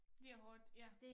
Det er hårdt ja